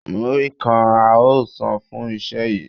Múrí kan a óò san fún iṣẹ́ yìí